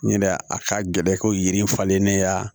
N yɛrɛ a ka gɛlɛn ko yiri falennen ya